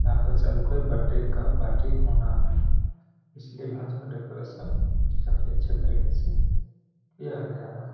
यहाँ पे शाम को बर्थडे का पार्टी होना है इसलिए आज यहाँ डेकोरेशन काफी अच्छे तरीके से किया गया है।